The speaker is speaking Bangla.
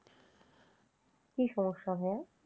কি সমস্যা ভাইয়া?